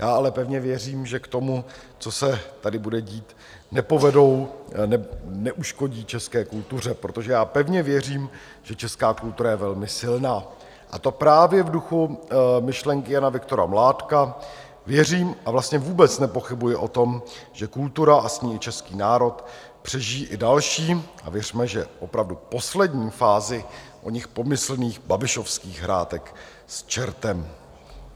Já ale pevně věřím, že k tomu, co se tady bude dít, nepovedou, neuškodí české kultuře, protože já pevně věřím, že česká kultura je velmi silná, a to právě v duchu myšlenky Jana Viktora Mládka, věřím a vlastně vůbec nepochybuji o tom, že kultura a s ní i český národ přežijí i další, a věřme, že opravdu poslední fázi oněch pomyslných babišovských hrátek s čertem.